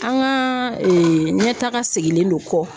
An ka ɲɛtaga segilen don kɔ